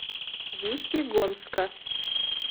весьегонска